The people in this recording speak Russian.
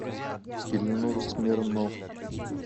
ильнур смирнов